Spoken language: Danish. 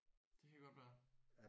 Det kan godt være